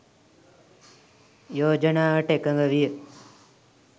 යෝජනාවට එකඟ විය.